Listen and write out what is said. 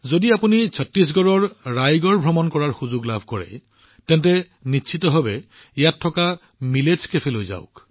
যদি আপোনালোকে ছট্টিশগড়ৰ ৰায়গড় ভ্ৰমণ কৰাৰ সুযোগ পায় তেন্তে তাত থকা মিলেটচ কেফেলৈ যাব